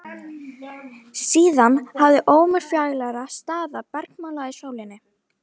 Síðan hafði ómur fjarlægra staða bergmálað í sálinni.